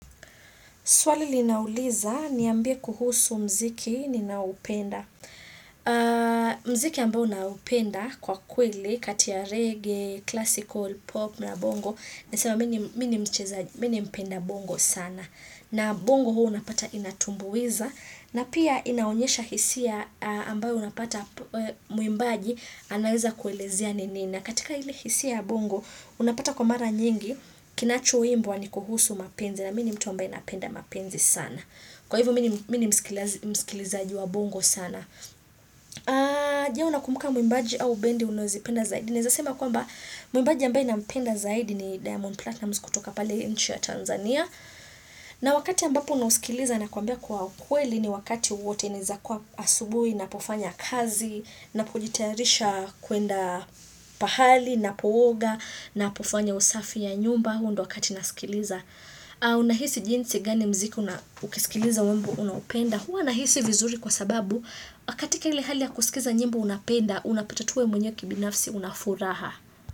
Swali linauliza kuhusu muziki ninaoupenda. Muziki ambao naupenda kwa kweli, katia reggae, classical, pop na bongo. Nasema mimi ni mimi ni mcheza mimi mpenda bongo sana. Na bongo huwa unapata inatumbuiza. Na pia inaonyesha hisia ambayo unapata mwimbaji anaweza kuelezia ni nini. Na katika ili hisi ya bongo, unapata kwa mara nyingi, kinachoimbwa ni kuhusu mapenzi na mini mtu ambaye napenda mapenzi sana. Kwa hivo mimi ni mimi ni msikilizaji wa bongo sana. Je unakumbuka mwimbaji au bendi unozozipenda zaidi. Nizasema kwamba mwimbaji ambaye nampenda zaidi ni Diamond Platinum kutoka pale nchi ya Tanzania. Na wakati ambapo unaosikiliza na kwambia kwa ukweli ni wakati wote naezakuwa asubuhi napofanya kazi, napojitarisha kwenda pahali, napooga, napofanya usafi ya nyumba huu ndo wakati nasikiliza. Unahisi jinsi gani mziki una ukisikiliza mambo unaupenda. Hua nahisi vizuri kwa sababu, akati kele hali ya kusikiza nyimbo unapenda, unapatatu wewe mwenye kibinafsi, unafuraha.